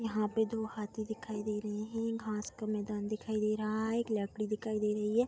यहाँ पे दो हाथी दिखाई दे रहें हैं। घास का मैदान दिखाई दे रहा है। एक लकड़ी दिखाई दे रही है।